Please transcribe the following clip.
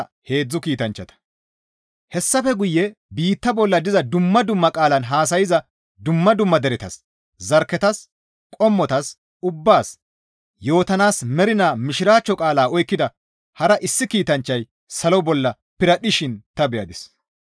Hessafe guye biitta bolla diza dumma dumma qaalan haasayza dumma dumma deretas, zarkketas, qommotas, ubbaas yootanaas mernaa Mishiraachcho qaala oykkida hara issi kiitanchchay salo bolla piradhdhishin ta beyadis.